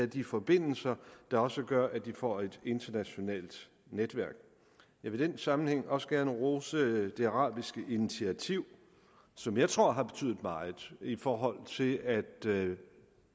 de forbindelser der også gør at de får et internationalt netværk jeg vil i den sammenhæng også gerne rose det arabiske initiativ som jeg tror har betydet meget i forhold til at